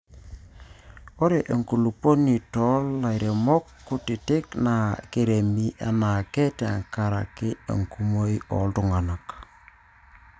ore enkulupuoni too lairemok kutitik naa kiremi anaake te nkarak enkumoi oltunganak